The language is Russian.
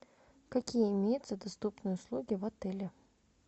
какие имеются доступные услуги в отеле